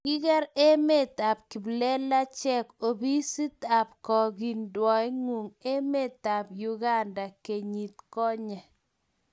kiker emet ab kiplelachek opisit ab kiokindengwaieng emetab uganda kenyit konye